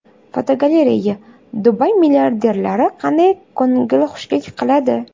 Fotogalereya: Dubay milliarderlari qanday ko‘ngilxushlik qiladi?.